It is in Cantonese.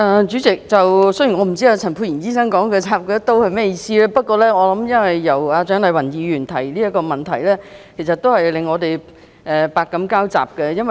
主席，雖然我不知道陳沛然醫生說蔣麗芸議員"插他一刀"是甚麼意思，不過這項質詢由蔣麗芸議員提出，真是令我們百感交集。